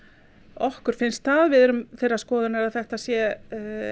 okkur finnst það við erum þeirrar skoðunar að þetta sé